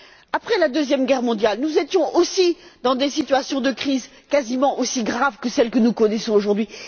Après la Deuxième Guerre mondiale, nous étions aussi dans des situations de crise quasiment aussi graves que celles que nous connaissons aujourd'hui.